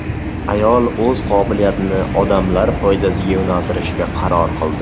Ayol o‘z qobiliyatini odamlar foydasiga yo‘naltirishga qaror qildi.